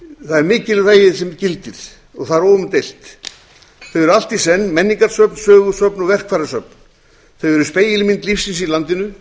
það er mikilvægið sem gildir og það er óumdeilt þau eru allt í senn menningarsöfn sögusöfn og verkfærasöfn þau eru spegilmynd lífsins í landinu